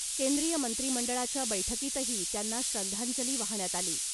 केंद्रीय मंत्री मंडळाच्या बैठकीतही त्यांना श्रद्धांजली वाहण्यात आली .